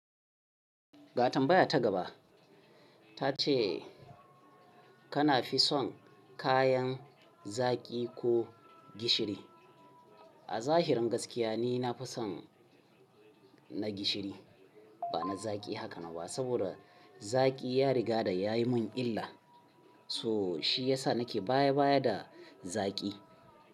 Ga tambaya ta gaba ta ce kana fi son kayan zaki ko gishiri? A zahirin gaskiya ni na fi son na gishiri, ba na zaki haka na ba saboda zaki ya riga da ya yi mun illa. So shi ya sa nake baya baya da zaki.